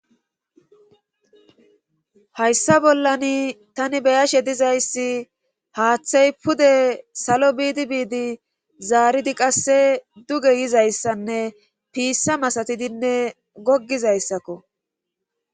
Hayssa bollan tani beyashe dizayssi haaththay pude salo biidi biidi zaaridi qasse duge yizayssanne piissa masatidinne goggizayssakko.